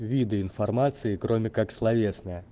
виды информации кроме как словесная